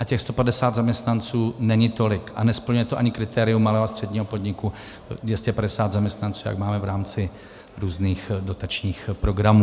A těch 150 zaměstnanců není tolik a nesplňuje to ani kritérium malého a středního podniku, 250 zaměstnanců, jak máme v rámci různých dotačních programů.